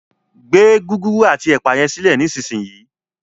gbé Gúgúrú ati ẹpa yen silẹ nísìsiyìí!